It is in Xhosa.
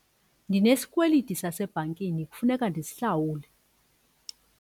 Ndinesikweliti sasebhankini kufuneka ndisihlawule.